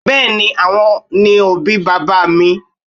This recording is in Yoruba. Bẹ́ẹ́ni, àwọn ni àwọn òbí bàbá mi